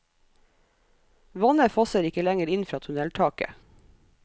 Vannet fosser ikke lenger inn fra tunneltaket.